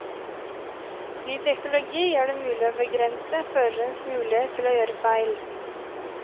Ny teknologi gjør det mulig å begrense førerens mulighet til å gjøre feil.